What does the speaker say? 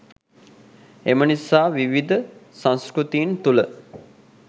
එම නිසා විවිධ සංස්කෘතීන් තුළ